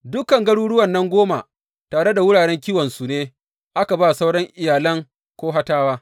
Dukan garuruwan nan goma tare da wuraren kiwonsu ne aka ba sauran iyalan Kohatawa.